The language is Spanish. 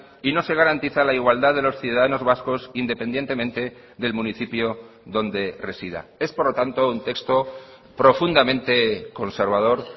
y no se garantiza la igualdad de los ciudadanos vascos independientemente del municipio donde resida es por lo tanto un texto profundamente conservador